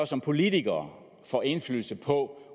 som politikere indflydelse på